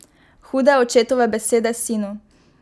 Hude očetove besede sinu!